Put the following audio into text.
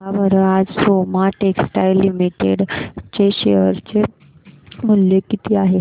सांगा बरं आज सोमा टेक्सटाइल लिमिटेड चे शेअर चे मूल्य किती आहे